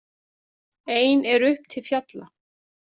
Ein er upp til fjalla.